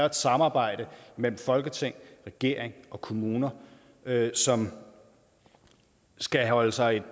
et samarbejde mellem folketing regering og kommuner som skal holde sig